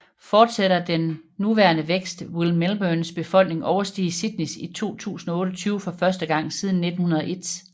Fortsætter den nuværende vækst vil Melbournes befolkning overstige Sydneys i 2028 for første gang siden 1901